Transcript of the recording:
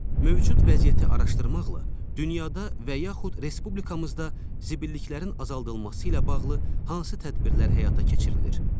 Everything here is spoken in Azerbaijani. Mövcud vəziyyəti araşdırmaqla dünyada və yaxud respublikamızda zibilliklərin azaldılması ilə bağlı hansı tədbirlər həyata keçirilir?